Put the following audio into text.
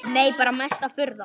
Nei bara mesta furða.